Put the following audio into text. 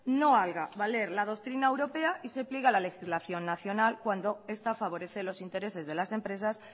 no haga valer la doctrina europea y se pliegue a la legislación nacional cuando esta favorece los intereses de las empresas